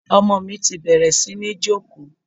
Ọmọ mi ti bẹ̀rẹ̀ sí ní jókòó.